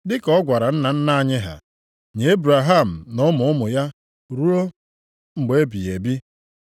Dị ka ọ gwara nna nna anyị ha, nye Ebraham na ụmụ ụmụ ya ruo mgbe ebighị ebi.”